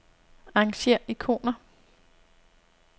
Arrangér ikoner.